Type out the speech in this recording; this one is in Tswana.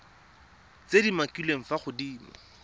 tse di umakiliweng fa godimo